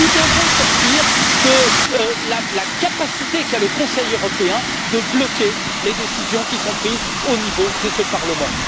Nous devons sortir de la capacité qu'a le Conseil européen de bloquer les décisions prises au niveau de ce Parlement.